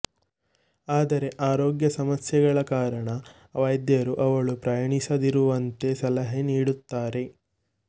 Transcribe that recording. ಆದರೆ ಆರೋಗ್ಯ ಸಮಸ್ಯೆಗಳ ಕಾರಣ ವೈದ್ಯರು ಅವಳು ಪ್ರಯಾಣಿಸದಿರುವಂತೆ ಸಲಹೆ ನೀಡುತ್ತಾರೆ